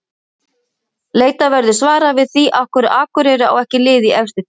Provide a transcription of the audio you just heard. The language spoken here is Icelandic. Leitað verður svara við því af hverju Akureyri á ekki lið í efstu deild.